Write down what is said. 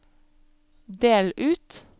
del ut